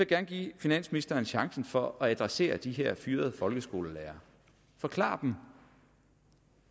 gerne give finansministeren chancen for at adressere de her fyrede folkeskolelærere forklar dem